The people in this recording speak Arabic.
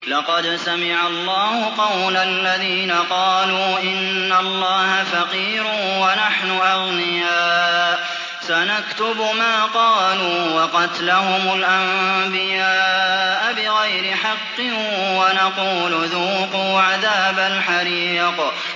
لَّقَدْ سَمِعَ اللَّهُ قَوْلَ الَّذِينَ قَالُوا إِنَّ اللَّهَ فَقِيرٌ وَنَحْنُ أَغْنِيَاءُ ۘ سَنَكْتُبُ مَا قَالُوا وَقَتْلَهُمُ الْأَنبِيَاءَ بِغَيْرِ حَقٍّ وَنَقُولُ ذُوقُوا عَذَابَ الْحَرِيقِ